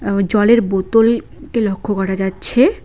আ জলের বোতলকে লক্ষ্য করা যাচ্ছে।